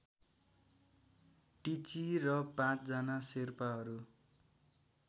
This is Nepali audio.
टिची र पाँचजना शेर्पाहरू